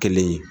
Kelen ye